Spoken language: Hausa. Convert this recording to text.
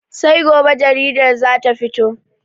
Sai gobe jaridar za ta fito.